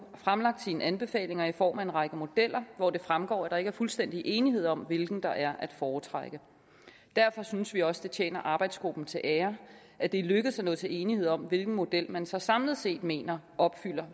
fremlagt sine anbefalinger i form af en række modeller hvor det fremgår at der ikke er fuldstændig enighed om hvilken der er at foretrække derfor synes vi også det tjener arbejdsgruppen til ære at det er lykkedes at nå til enighed om hvilken model man så samlet set mener opfylder